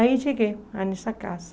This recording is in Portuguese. Aí cheguei lá nessa casa.